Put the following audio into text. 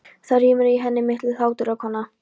Það rymur í henni milli hláturrokanna.